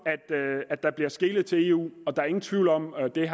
at der bliver skelet til eu og der er ingen tvivl om og det